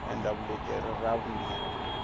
ku endla vuleteri ra vumbirhi